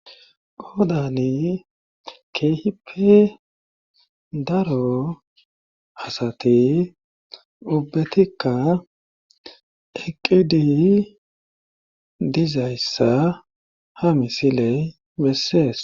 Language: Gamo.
qoodani keehipe daro asati ubbetikka eqqidi dizayssa ha misiley bessees